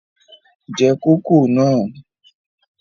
Je kòkó náà!